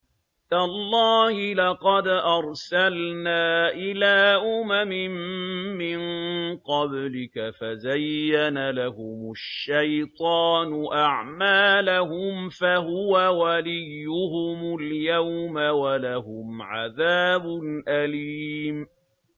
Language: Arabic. تَاللَّهِ لَقَدْ أَرْسَلْنَا إِلَىٰ أُمَمٍ مِّن قَبْلِكَ فَزَيَّنَ لَهُمُ الشَّيْطَانُ أَعْمَالَهُمْ فَهُوَ وَلِيُّهُمُ الْيَوْمَ وَلَهُمْ عَذَابٌ أَلِيمٌ